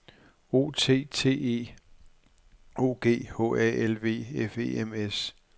O T T E O G H A L V F E M S